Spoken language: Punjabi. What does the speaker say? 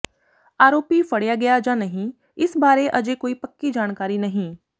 ਆਰੋਪੀ ਫੜਿਆ ਗਿਆ ਜਾਂ ਨਹੀਂ ਇਸ ਬਾਰੇ ਅਜੇ ਕੋਈ ਪੱਕੀ ਜਾਣਕਾਰੀ ਨਹੀਂ